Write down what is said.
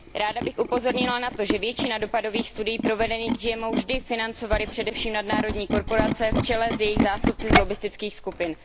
Ráda bych upozornila na to, že většinu dopadových studií provedených k GMO vždy financovaly především nadnárodní korporace v čele s jejich zástupci z lobbistických skupin.